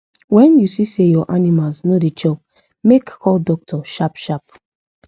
when u see say ur animals no da chop make call doctor sharp sharp